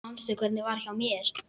Manstu hvernig var hjá mér?